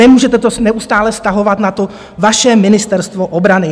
Nemůžete to neustále vztahovat na to vaše Ministerstvo obrany.